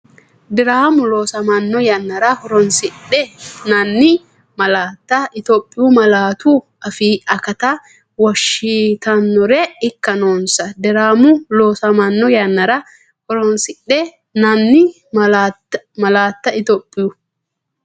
Diraamu loosamanno yannara horoonsidhi- nanni malaatta Itophiyu malaatu afii akatta wonshitannore ikka noonsa Diraamu loosamanno yannara horoonsidhi- nanni malaatta Itophiyu.